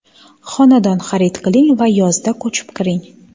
Xonadon xarid qiling va yozda ko‘chib kiring.